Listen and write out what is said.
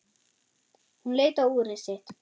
Hann leit á úrið sitt.